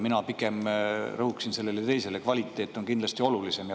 Mina pigem rõhuksin sellele teisele, kvaliteet on kindlasti olulisem.